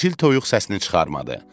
Çil-çil toyuq səsini çıxarmadı.